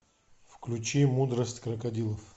включи мудрость крокодилов